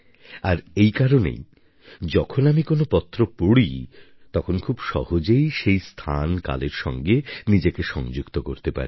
আর এই কারণেই যখন আমি কোনো পত্র পড়ি তখন খুব সহজেই সেই স্থানকালের সাথে নিজেকে সংযুক্ত করতে পারি